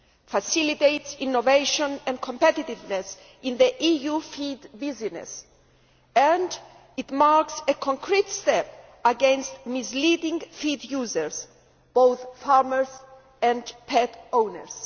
facilitates innovation and competitiveness in the EU feed business and marks a concrete step against the misleading of feed users be they farmers or pet owners.